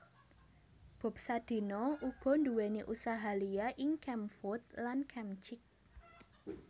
Bob Sadino uga nduwèni usaha liya ing Kemfood lan Kemchick